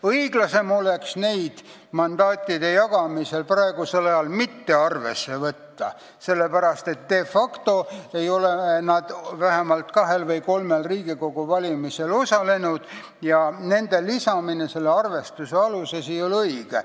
Õiglasem oleks neid mandaatide jagamisel praegu mitte arvesse võtta, sest de facto ei ole need inimesed vähemalt kahel või kolmel Riigikogu valimisel osalenud ja nende lisamine selle arvestuse alusesse ei ole õige.